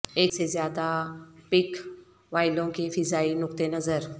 ایک سے زیادہ پک وایلوں کے فضائی نقطہ نظر